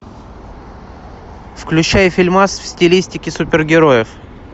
включай фильмас в стилистике супергероев